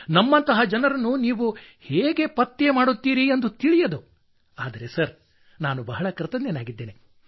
ನಮ್ಮಂತಹ ಜನರನ್ನು ನೀವು ಹೇಗೆ ಪತ್ತೆ ಮಾಡುತ್ತೀರಿ ಎಂದು ತಿಳಿಯದು ಆದರೆ ಸರ್ ನಾನು ಬಹಳ ಕೃತಜ್ಞನಾಗಿದ್ದೇನೆ